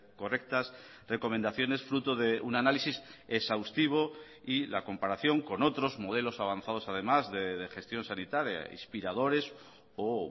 correctas recomendaciones fruto de un análisis exhaustivo y la comparación con otros modelos avanzados además de gestión sanitaria inspiradores o